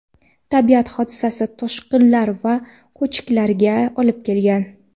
Tabiat hodisasi toshqinlar va ko‘chkilarga olib kelgan.